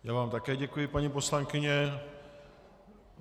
Já vám také děkuji, paní poslankyně.